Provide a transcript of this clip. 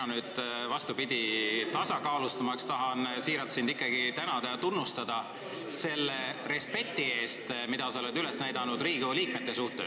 Mina nüüd vastupidi, et seisu tasakaalustada, tahan sind siiralt ikkagi tänada ja tunnustada selle respekti eest, mida sa oled üles näidanud Riigikogu liikmete suhtes.